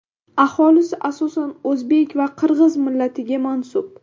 Aholisi asosan o‘zbek va qirg‘iz millatiga mansub.